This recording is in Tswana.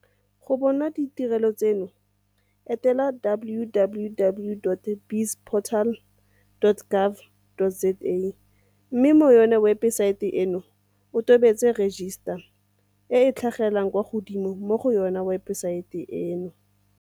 Go bona ditirelo tseno etela www.bizportal.gov.za mme mo webesaeteng eno o tobetse 'register' e e tlhagelelang kwa godimo mo go yona webesaete eno.